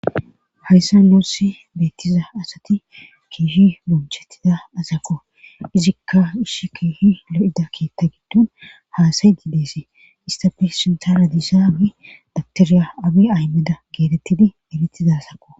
hayssa noossi beettiza asati kiishi bunchettida asako izikka ishsh kiishi lo7ida kiitta giddun haasay diideesi istafe sintara disaawi daktiriya abi aymeda geetettidi elitizasakko